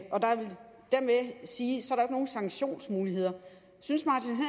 sige ikke er nogen sanktionsmuligheder synes